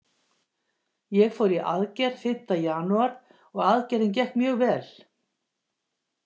Ég fór í aðgerð fimmta janúar og aðgerðin gekk mjög vel.